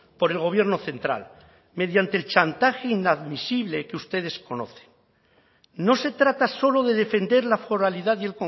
por el gobierno central mediante el chantaje inadmisible que ustedes conocen no se trata solo de defender la foralidad y